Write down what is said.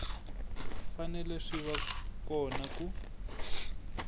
fanele swi va kona ku